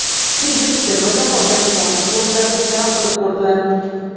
Keyin terma jamoaga xorij futbolchilarini jalb qilib ko‘rdilar.